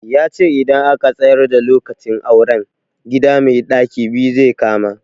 Yace idan aka tsayar da lokacin auren, gida mai ɗaki biyu zai kama.